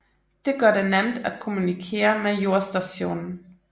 Det gør det nemt at kommunikere med jordstationen